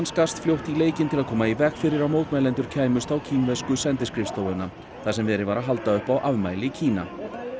skarst fljótt í leikinn til að koma í veg fyrir að mótmælendur kæmust á kínversku sendiskrifstofuna þar sem verið var að halda upp á afmæli Kína